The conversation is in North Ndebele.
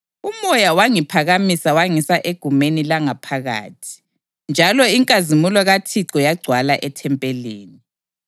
UMoya wangiphakamisa wangisa egumeni langaphakathi, njalo inkazimulo kaThixo yagcwala ethempelini.